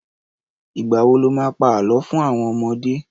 Ìgbà wo lo má pá Àlọ́ fún àwon ọmọdé?